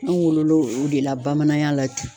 An wololɔ o de la bamanaya la ten.